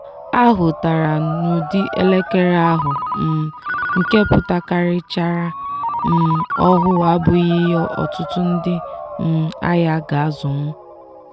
a hụtara n'ụdị elekere ahụ um nke pụtakarichara um ọhụụ abụghị ihe ọtụtụ ndị um ahịa ga-azụnwu